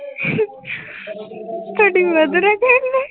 ਤੁਹਾਡੀ mother ਆ ਕਹਿੰਦੇ।